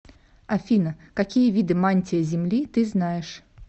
афина какие виды мантия земли ты знаешь